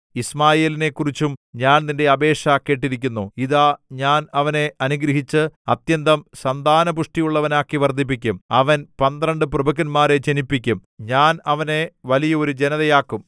യിശ്മായേലിനെ കുറിച്ചും ഞാൻ നിന്റെ അപേക്ഷ കേട്ടിരിക്കുന്നു ഇതാ ഞാൻ അവനെ അനുഗ്രഹിച്ച് അത്യന്തം സന്താനപുഷ്ടിയുള്ളവനാക്കി വർദ്ധിപ്പിക്കും അവൻ പന്ത്രണ്ട് പ്രഭുക്കന്മാരെ ജനിപ്പിക്കും ഞാൻ അവനെ വലിയ ഒരു ജനതയാക്കും